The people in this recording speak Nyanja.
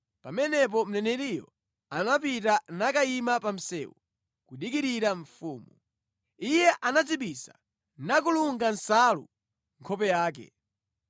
Pamenepo mneneriyo anapita nakayima pa msewu kudikirira mfumu. Iye anadzibisa nakulunga nsalu nkhope yake.